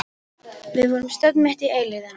Við vorum stödd mitt í eilífðinni.